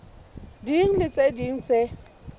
ding le tse ding tse